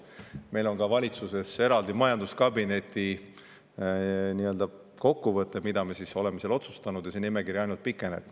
Meil on ka valitsuses eraldi majanduskabineti kokkuvõte sellest, mida me oleme otsustanud, ja see nimekiri ainult pikeneb.